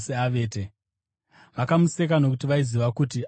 Vakamuseka, nokuti vaiziva kuti akanga afa.